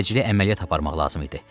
Təcili əməliyyat aparmaq lazım idi.